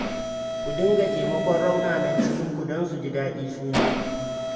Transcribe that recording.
Ku dinga taimakon raunanan cikinku don su ji daɗi su ma